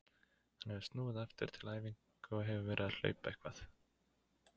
Hann hefur snúið aftur til æfinga og hefur verið að hlaupa eitthvað.